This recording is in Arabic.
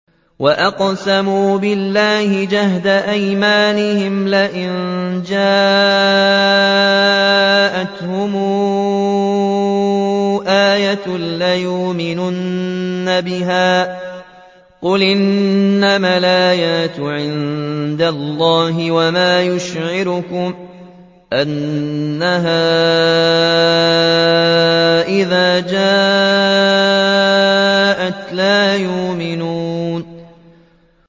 وَأَقْسَمُوا بِاللَّهِ جَهْدَ أَيْمَانِهِمْ لَئِن جَاءَتْهُمْ آيَةٌ لَّيُؤْمِنُنَّ بِهَا ۚ قُلْ إِنَّمَا الْآيَاتُ عِندَ اللَّهِ ۖ وَمَا يُشْعِرُكُمْ أَنَّهَا إِذَا جَاءَتْ لَا يُؤْمِنُونَ